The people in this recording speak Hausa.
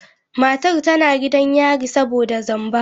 Matar tana gidan yari saboda zamba.